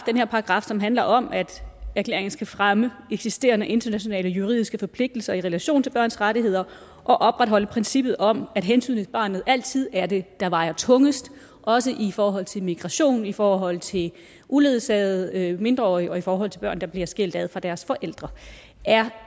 her paragraf som handler om at erklæringen skal fremme eksisterende internationale juridiske forpligtelser i relation til børns rettigheder og opretholde princippet om at hensynet til barnet altid er det der vejer tungest også i forhold til migration i forhold til uledsagede mindreårige og i forhold til børn der bliver skilt ad fra deres forældre er